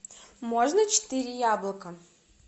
можно четыре яблока